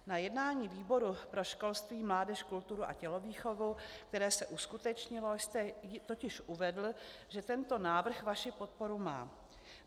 Na jednání výboru pro školství, mládež, kulturu a tělovýchovu, které se uskutečnilo, jste totiž uvedl, že tento návrh vaši podporu má.